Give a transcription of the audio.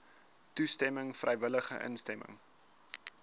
toestemming vrywillige instemming